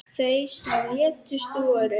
Þau sem létust voru